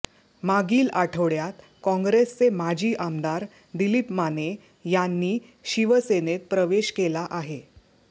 मागील आठवड्यात काँग्रेसचे माजी आमदार दिलीप माने यांनी शिवसेनेत प्रवेश केला आहे